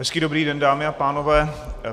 Hezký dobrý den, dámy a pánové.